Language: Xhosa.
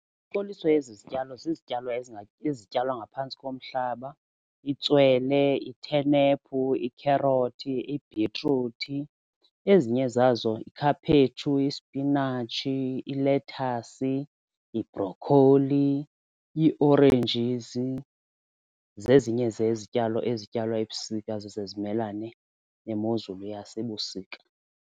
izityalo zizityalo ezityalwa ngaphantsi komhlaba itswele, ithenephu, ikherothi, ibhitruthi. Ezinye zazo ikhaphetshu, isipinatshi, ilethasi, ibrokholi, ii-oranges zezinye zezityalo ezityalwa ebusika zise zimelane nemozulu yasebusika.